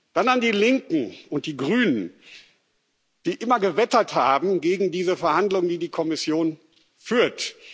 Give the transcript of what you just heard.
Dann an die Linken und die Grünen, die immer gewettert haben gegen diese Verhandlungen, die die Kommission führt.